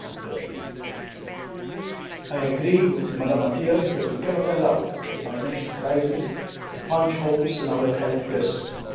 2013. I agree with Ms Matias that we cannot allow the financial crisis to punch holes in our healthcare system.